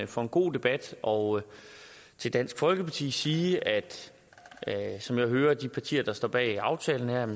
for en god debat og til dansk folkeparti sige at som jeg hører de partier der står bag aftalen her